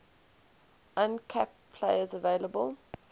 uncapped players available